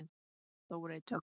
Þórey Dögg.